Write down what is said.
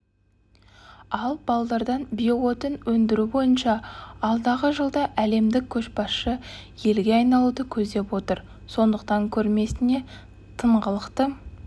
ал балдырдан биоотын өндіру бойынша алдағы жылда әлемдік көшбасшы елге айналуды көздеп отыр сондықтан көрмесіне тыңғылықты